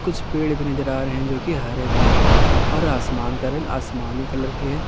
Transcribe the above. कुछ पेड़ भी नजर आ रहे हैं जो हरे एक रंग के हैं और आसमान का रंग आसमानी कलर है।